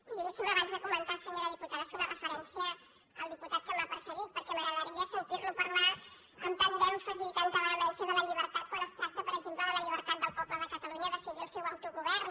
miri deixi’m abans de co·mençar senyora diputada fer una referència al diputat que m’ha precedit perquè m’agradaria sentir·lo parlar amb tant d’èmfasi i amb tanta vehemència de la llibertat quan es tracta per exemple de la llibertat del poble de catalunya a decidir el seu autogovern